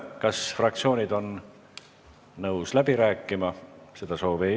Kas fraktsioonid on nõus läbi rääkima?